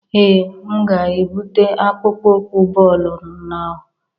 Ee, m ga-ebute akpụkpọ ụkwụ bọọlụ na o